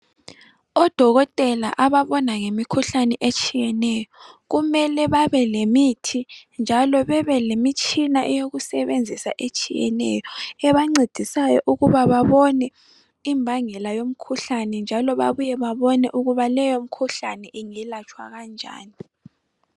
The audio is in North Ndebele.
Odokotela ababona ngemikhuhlane etshiyeneyo kumele babelemithi njalo bebe lemitshina eyokusebenzisa etshiyeneyo. Ebancedisayo ukuba babone imbangela yomkhuhlane njalo babuye babone ukuthi leyomikhuhlane ingelatshwa kanjani.